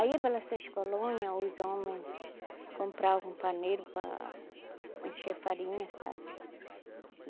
Aí pelas seis colônia os homens compravam um paneiro para encher farinha, sabe?